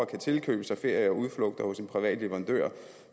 kan tilkøbe sig ferie og udflugter hos en privat leverandør